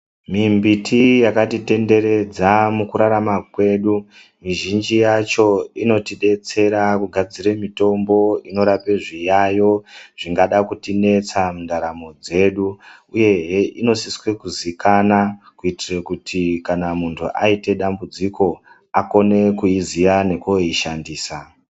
Mimbiti yakatitenderedza mukurarama kwedu. Mizhinji yacho inotidetsera kugadzire mitombo inorape zviyayo zvingada kutinetsa mundaramo dzedu. Uyehe inosiswe kuzikana kuitire kuti kana muntu aite dambudziko akone kuiziya nekooishandisa.